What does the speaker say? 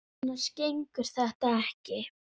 Annars gengur þetta ekki.